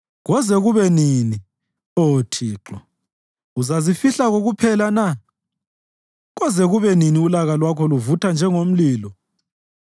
Koze kube nini, Oh Thixo? Uzazifihla kokuphela na? Koze kube nini ulaka lwakho luvutha njengomlilo?